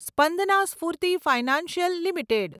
Spandana Sphoorty financial limited